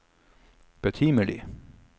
betimelig